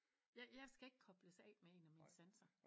Jeg jeg skal ikke kobles af med en af mine sanser